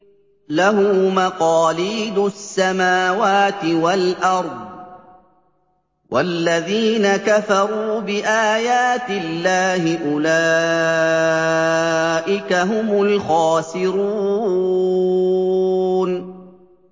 لَّهُ مَقَالِيدُ السَّمَاوَاتِ وَالْأَرْضِ ۗ وَالَّذِينَ كَفَرُوا بِآيَاتِ اللَّهِ أُولَٰئِكَ هُمُ الْخَاسِرُونَ